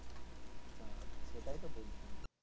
সেটাইতো বলছি,